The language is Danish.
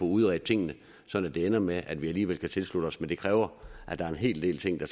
udredt tingene så det ender med at vi alligevel kan tilslutte os men det kræver at der er en hel del ting